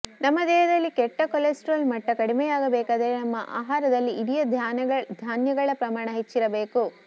ನಮ್ಮ ದೇಹದಲ್ಲಿ ಕೆಟ್ಟ ಕೊಲೆಸ್ಟ್ರಾಲ್ ಮಟ್ಟ ಕಡಿಮೆಯಾಗಬೇಕಾದರೆ ನಮ್ಮ ಆಹಾರದಲ್ಲಿ ಇಡಿಯ ಧಾನ್ಯಗಳ ಪ್ರಮಾಣ ಹೆಚ್ಚಿರಬೇಕು